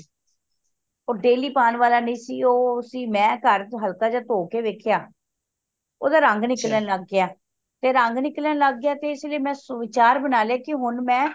ਉਹ daily ਪਾਣ ਵਾਲਾ ਨਹੀਂ ਸੀ ਮਈ ਘਰ ਚ ਹਲਕਾ ਜਿਯਾ ਧੋ ਕੇ ਵੇਖੇਯਾ ਉਹਦਾ ਰੰਗ ਨਿਕਲਣ ਲੱਗ ਗਯਾ ਰੰਗ ਨਿਕਲਣ ਲੱਗ ਗਯਾ ਤੇ ਇਸ ਲਯੀ ਮਈ ਵਿਚਾਰ ਬਣਾ ਲਿਆ ਹੁਣ ਮੈਂ